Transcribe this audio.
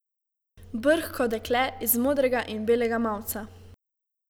Brhko dekle iz modrega in belega mavca.